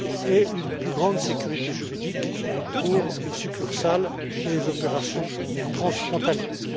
et une plus grande sécurité juridique pour les succursales et les opérations transfrontalières.